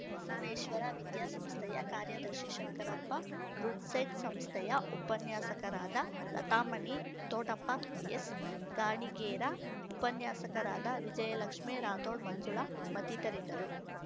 ಬಸವೇಶ್ವರ ವಿದ್ಯಾ ಸಂಸ್ಥೆಯ ಕಾರ್ಯದರ್ಶಿ ಶಂಕರಪ್ಪ ರುಡ್‌ಸೆಟ್‌ಸಂಸ್ಥೆಯ ಉಪನ್ಯಾಸಕರಾದ ಲತಾಮಣಿ ತೋಟಪ್ಪ ಎಸ್‌ಗಾಣಿಗೇರ ಉಪನ್ಯಾಸಕರಾದ ವಿಜಯಲಕ್ಷ್ಮೇ ರಾಥೋಡ್‌ ಮಂಜುಳಾ ಮತ್ತಿತರಿದ್ದರು